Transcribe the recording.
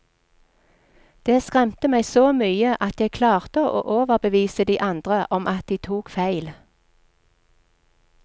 Det skremte meg så mye at jeg klarte å overbevise de andre om at de tok feil.